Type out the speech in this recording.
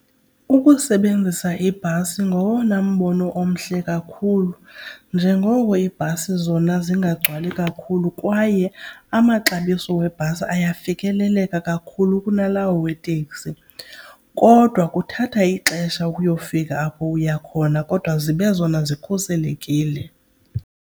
Ukusebenzisa ibhasi ngowona mbono omhle kakhulu njengoko iibhasi zona zingagcwali kakhulu kwaye amaxabiso webhasi ayafikeleleka kakhulu kunalawo weteksi. Kodwa kuthatha ixesha ukuyofika apho uya khona kodwa zibe zona zikhuselekile.